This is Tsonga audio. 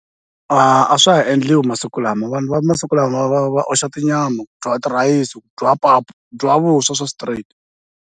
A swa ha endliwa masiku lama vanhu va masiku lama va va oxa tinyama, ku dyiwa tirhayisi ku dyiwa pap, ku dyiwa vuswa swa straight.